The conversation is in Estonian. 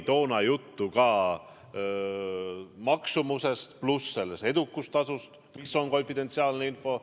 Toona oli juttu ka selle maksumusest pluss edukustasust, mis on konfidentsiaalne info.